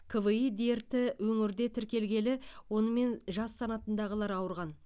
кви дерті өңірде тіркелгелі онымен жас санатындағылар ауырған